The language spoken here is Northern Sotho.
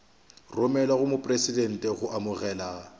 romelwa go mopresidente go amogelwa